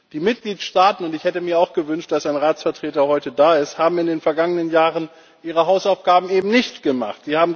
Die Mitgliedstaaten und ich hätte mir auch gewünscht, dass ein Ratsvertreter heute da ist haben in den vergangenen Jahren ihre Hausaufgaben eben nicht gemacht.